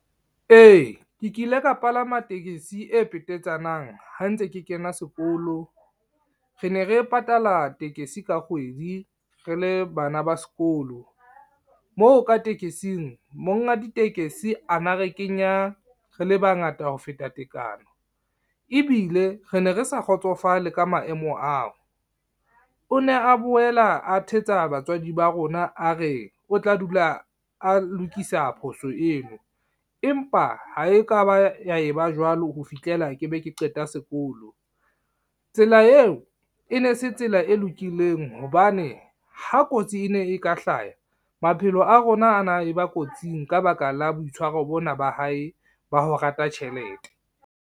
E, ke kile ka palama tekesi e petetsanang ha ntse ke kena sekolo. Re ne re patala tekesi ka kgwedi re le bana ba sekolo. Moo ka tekesing monga ditekesi ana a re kenya re le bangata ho feta tekano, ebile re ne re sa kgotsofale ka maemo ao. O ne a boela a thetsa batswadi ba rona a re o tla dula a lokisa phoso eo, empa ha e ka ba ya e ba jwalo ho fihlela ke be ke qeta sekolo. Tsela eo e ne se tsela e lokileng hobane ha kotsi e ne e ka hlaha maphelo a rona a na e ba kotsing ka baka la boitshwaro bona ba hae ba ho rata tjhelete.